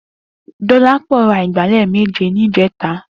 Dolapo rà igbálè méjé nijètá